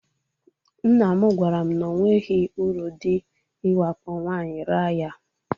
Nnam gwaram na onweghi uru dị iwakpo nwaanyị raa ya.